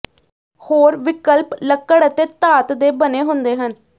ਹੋਰ ਵਿਕਲਪ ਲੱਕੜ ਅਤੇ ਧਾਤ ਦੇ ਬਣੇ ਹੁੰਦੇ ਹਨ